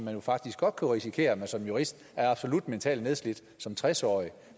kan faktisk godt risikere at man som jurist er absolut mentalt nedslidt som tres årig